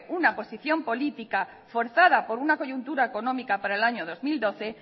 una posición política forzada por una coyuntura económica para el año dos mil doce